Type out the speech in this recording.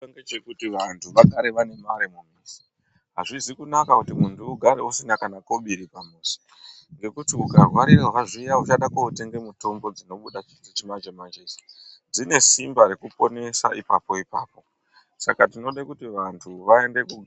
Ngechekuti vantu vagare vane mare pamuzi, azvizi kunaka kuti muntu ugare usina kana kobiri pamuzi ngekuti ukarwarirwa zviya uchada kotenga mutombo dzinobuda dzechimanje manje idzi dzine Simba rekuponesa ipapo ipapo saka tinode kuti vantu vaende ko.